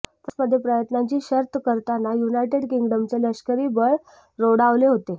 फ्रान्समध्ये प्रयत्नांची शर्थ करताना युनायटेड किंग्डमचे लश्करी बळ रोडावले होते